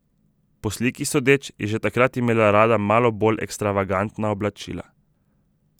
Po sliki sodeč, je že takrat imela rada malo bolj ekstravagantna oblačila.